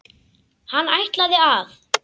Hann ætlaði að.